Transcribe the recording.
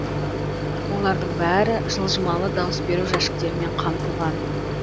олардың бәрі жылжымалы дауыс беру жәшіктерімен қамтылған